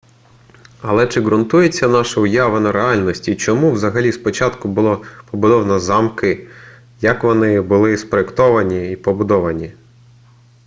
але чи ґрунтується наша уява на реальності чому взагалі спочатку було побудовано замки як вони були спроєктовані й побудовані